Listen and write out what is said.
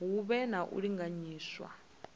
hu vhe na u linganyiswa